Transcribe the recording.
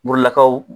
Murulakaw